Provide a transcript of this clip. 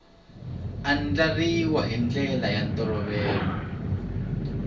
andlariwa hi ndlela ya ntolovelo